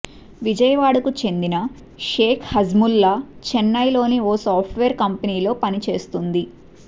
విజయవాడకు చెందిన షేక్ హజ్మూలా చెన్నైలోని ఓ సాఫ్ట్ వేర్ కంపెనీలో పని చేస్తుంది